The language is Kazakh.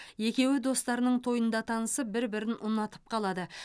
екеуі достарының тойында танысып бір бірін ұнатып қалады